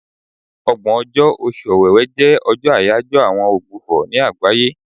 Ọgbọ̀n ọjọ́, Oṣù Ọ̀wẹ̀wè jẹ́ àyájọ́ ọjọ́ àwọn ogbùfọ̀ ní àgbáyé.